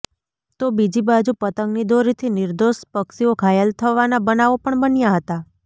તો બીજી બાજુ પતંગની દોરીથી નિર્દોષ પક્ષીઓ ઘાયલ થવાના બનાવો પણ બન્યા હતાં